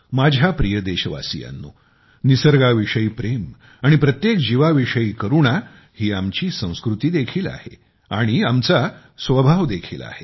माझ्या प्रिय देशवासीयांनो निसर्गाविषयी प्रेम आणि प्रत्येक जीवाविषयी करुणा ही आमची संस्कृती देखील आहे आणि आमचा सहज स्वभाव देखील आहे